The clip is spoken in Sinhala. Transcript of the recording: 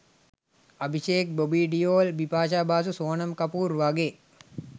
අභිශේක් බොබී ඩියෝල් බිපාෂා බාසු සෝනම් කපූර් වගේ